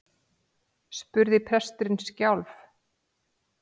spurði presturinn skjálf